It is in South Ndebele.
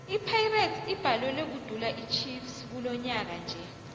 ipirates ibhalelwe kudula ichiefs kilonyaka nje